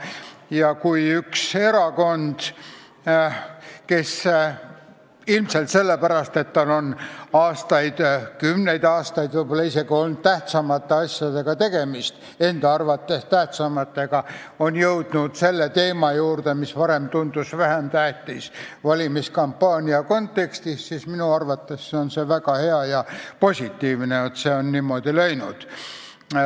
Ja kui üks erakond, kes ilmselt sellepärast, et tal on aastaid või isegi kümneid aastaid olnud tegemist tähtsamate asjadega – vähemalt enda arvates tähtsamatega –, on jõudnud valimiskampaania kontekstis teema juurde, mis varem tundus vähem tähtis, siis minu arvates on väga hea ja positiivne, et see on niimoodi läinud.